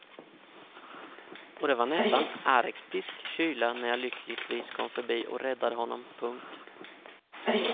Och det var nästan arktisk kyla när jag lyckligtvis kom förbi och räddade honom. punkt